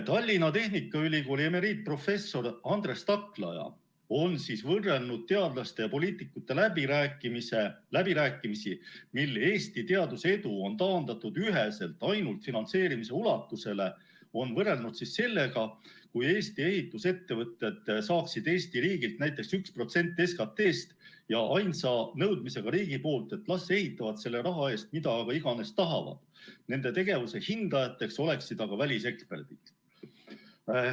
Tallinna Tehnikaülikooli emeriitprofessor Andres Taklaja on võrrelnud teadlaste ja poliitikute läbirääkimisi, millel Eesti teaduse edu on taandatud üheselt ainult finantseerimise ulatusele, sellega, kui Eesti ehitusettevõtted saaksid Eesti riigilt näiteks 1% SKT‑st, ainsa nõudmisega riigilt, et las ehitavad selle raha eest, mida iganes tahavad, nende tegevuse hindajateks oleksid aga väliseksperdid.